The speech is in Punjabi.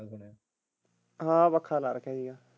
ਹਾਂ ਪੱਖਾਂ ਲਾ ਰੱਖਿਆ ਸੀਗਾ।